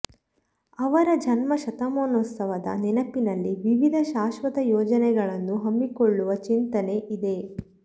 ಅವರ ಜನ್ಮ ಶತಮಾನೋತ್ಸವದ ನೆನಪಿನಲ್ಲಿ ವಿವಿಧ ಶಾಶ್ವತ ಯೋಜನೆಗಳನ್ನು ಹಮ್ಮಿಕೊಳ್ಳುವ ಚಿಂತನೆ ಇದೆ